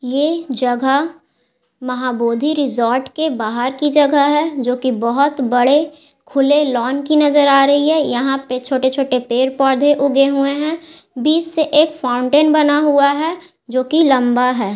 ये जगह माहाबोधि रिसोर्ट के बाहर की जगह हैं जो की बहुत बड़े खुले लॉन की नज़र आ रही हैं यहां पर छोटे-छोटे पेड़-पौधे उगे हुए हैं बीच से एक फाउंटेन बना हुआ हैं जो की लंबा हैं।